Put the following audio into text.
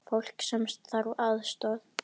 Fólk sem þarf aðstoð.